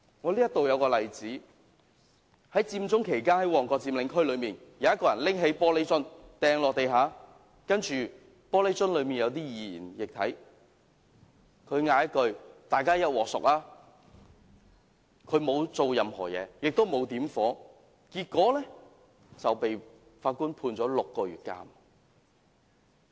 我舉一個例子，在佔中期間，旺角佔領區內有人拿起玻璃瓶擲在地上，玻璃瓶內有些易燃液體，他喊了一句"大家一鑊熟"，但沒有做任何事情，也沒有點火，結果被法官判處6個月監禁。